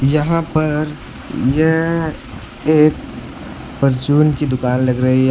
यहां पर यह एक परचून की दुकान लग रही है यहाँ--